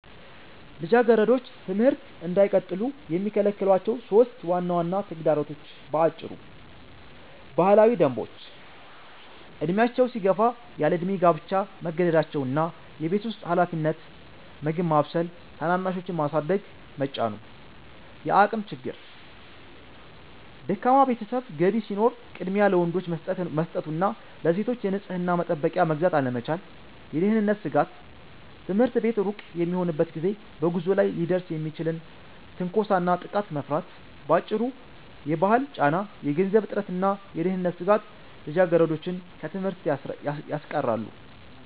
ልጃገረዶች ትምህርት እንዳይቀጥሉ የሚከለክሏቸው 3 ዋና ዋና ተግዳሮቶች በአጭሩ፦ ባህላዊ ደንቦች፦ ዕድሜያቸው ሲገፋ ያለዕድሜ ጋብቻ መገደዳቸው እና የቤት ውስጥ ኃላፊነት (ምግብ ማብሰል፣ ታናናሾችን ማሳደግ) መጫኑ። የአቅም ችግር፦ ደካማ የቤተሰብ ገቢ ሲኖር ቅድሚያ ለወንዶች መሰጠቱ እና ለሴቶች የንጽሕና መጠበቂያ መግዛት አለመቻል። የደህንነት ስጋት፦ ትምህርት ቤት ሩቅ በሚሆንበት ጊዜ በጉዞ ላይ ሊደርስ የሚችልን ትንኮሳና ጥቃት መፍራት። ባጭሩ፤ የባህል ጫና፣ የገንዘብ እጥረትና የደህንነት ስጋት ልጃገረዶችን ከትምህርት ያስቀራሉ።